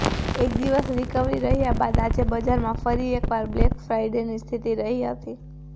એક દિવસ રિકવરી રહ્યા બાદ આજે બજારમાં ફરી એકવાર બ્લેક ફ્રાઇડેની સ્થિતિ રહી હતી